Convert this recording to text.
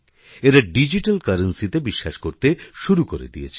এরা ডিজিট্যাল কারেন্সিতে বিশ্বাস করতে শুরু করে দিয়েছে